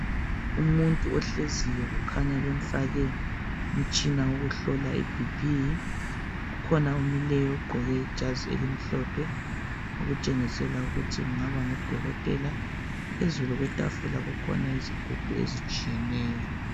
Umuthi ohleziyo kukhanya bamfake umtshina wokuhlola ibp, kukhona omileyo oqoke ijazi elimhlophe okutshengisela ukuthi kungaba ngudokotela. Phezulu kwetafula kukhona izigubhu ezitshiyeneyo.